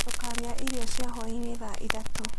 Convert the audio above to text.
Tũkarĩa irio cia hwaĩ-inĩ thaa ithathatũ.